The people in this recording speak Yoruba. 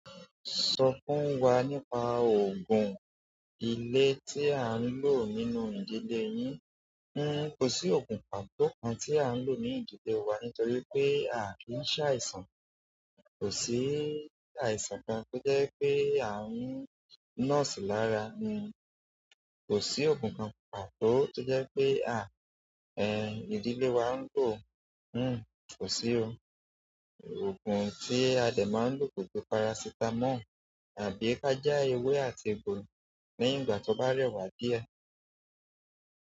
Sọ fún wa nípa òògùn ilé tí à ń lò nínú ìdílé yín. N o, kò sí òògùn pàtó kan tí à ń lò ní ìdílé wa nítorí pé a kì í ṣàìsàn. Kò sí àìsàn kan tó jẹ́ pé à ń nọ́ọ̀sì lára. N o, kò sí òògùn kan pàtó tó jẹ́ pé a, ẹ ìdílé wa ń lò. N o, kò sí o. Òògùn tí a dẹ máa ń lò koju parasítámọ̀ tàbí ka ja ewé àti egbò ní ìgbà tí ó bá rẹwà díẹ̀.